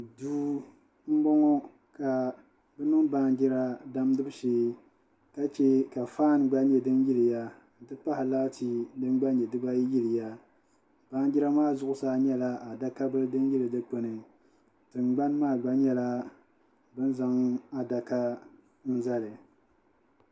Duu n bɔŋɔ ka bi niŋ baanjira damgibu shee ka chɛ ka faan gba nyɛ din yiliya n ti pahi laati din gba nyɛ dibayi yiliya baanjira maa zuɣusaa n nyɛla adaka bili din yili dikpuni tingbani maa gba ni n nyɛla bin zaŋ adaka bili zali